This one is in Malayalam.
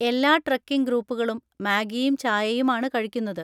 എല്ലാ ട്രെക്കിംഗ് ഗ്രൂപ്പുകളും മാഗിയും ചായയും ആണ് കഴിക്കുന്നത്.